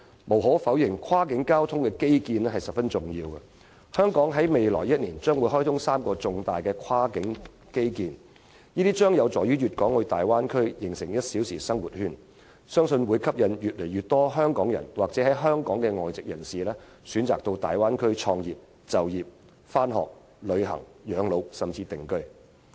無可否認，跨境交通基建十分重要，香港將在未來1年開通3項重大跨境基建，這將有助大灣區形成"一小時生活圈"，我相信可吸引越來越多香港人或香港的外籍人士選擇到大灣區創業、就業、上學、旅行、養老，甚至定居。